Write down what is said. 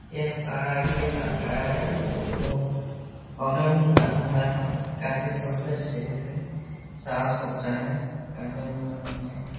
यह पहाड़ी इलाक़ा है एगो अलग़ ही बना हुआ है। काफी सुंदर दृश्य है। साफ़ सुथरा है काफी मनोरंजन --